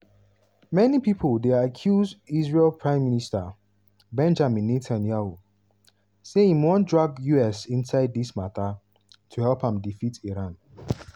many pipo dey accuse israel prime minister benjamin netanyahu say im wan drag us inside dis mata to help am defeat iran.